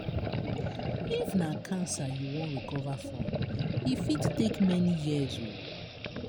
if na cancer you wan recover from e fit take many years.